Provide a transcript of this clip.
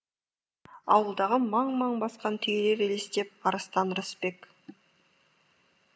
ауылдағы маң маң басқан түйелер елестеп арыстан рысбек